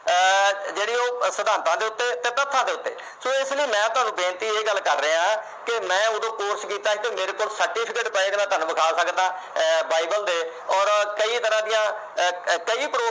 ਆਹ ਜਿਹੜੇ ਉਹ ਸਿਧਾਤਾਂ ਦੇ ਉੱਤੇ ਤੇ ਤੱਥਾਂ ਦੇ ਉੱਤੇ। so ਇਸ ਲਈ ਮੈਂ ਤੁਹਾਨੂੰ ਬੇਨਤੀ ਇਹ ਗੱਲ ਕਰ ਰਿਹਾ ਤੇ ਮੈਂ ਉਦੋਂ ਇੱਕ course ਕਰ ਰਿਹਾ ਮੇਰੇ ਕੋਲ certificate ਪਏ ਜਿਹੜੇ ਮੈਂ ਤੁਹਾਨੂੰ ਦਿਖਾ ਸਕਦਾ Bible ਦੇ ਔਰ ਕਈ ਤਰ੍ਹਾਂ ਦੀਆਂ